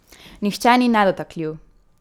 Nihče ni nedotakljiv!